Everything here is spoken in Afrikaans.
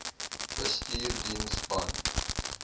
bestuursdiens band